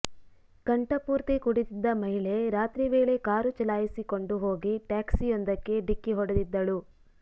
ಕಂಠಪೂರ್ತಿ ಕುಡಿದಿದ್ದ ಮಹಿಳೆ ರಾತ್ರಿ ವೇಳೆ ಕಾರು ಚಲಾಯಿಸಿಕೊಂಡು ಹೋಗಿ ಟ್ಯಾಕ್ಸಿಯೊಂದಕ್ಕೆ ಡಿಕ್ಕಿ ಹೊಡೆದಿದ್ದಳು